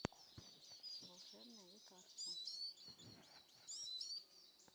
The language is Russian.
волшебное лекарство